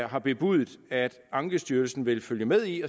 har bebudet at ankestyrelsen vil følge med i